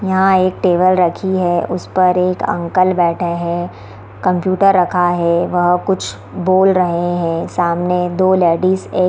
यहां एक टेबल रखी है उसे पर एक अंकल बैठे हैं कंप्यूटर रखा हे वह कुछ बोल रहे हैं सामने दो लेडिस ए --